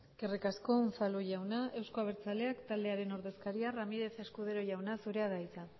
eskerrik asko unzalu jauna euzko abertzaleak taldearen ordezkaria ramírez escudero jauna zurea da hitza